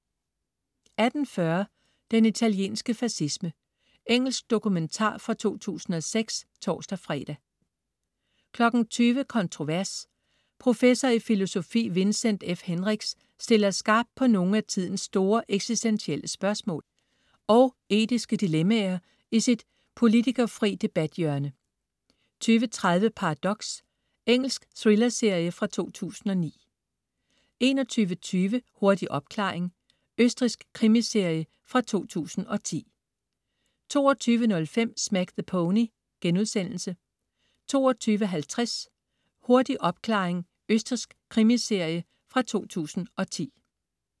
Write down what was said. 18.40 Den italienske fascisme. Engelsk dokumentar fra 2006 (tors-fre) 20.00 Kontrovers. Professor i filosofi Vincent F. Hendricks stiller skarpt på nogle af tidens store eksistentielle spørgsmål og etiske dilemmaer i sit politikerfrie debathjørne 20.30 Paradox. Engelsk thrillerserie fra 2009 21.20 Hurtig opklaring. Østrigsk krimiserie fra 2010 22.05 Smack the Pony* 22.50 Hurtig opklaring. Østrigsk krimiserie fra 2010